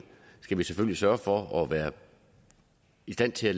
sørge for at være i stand til at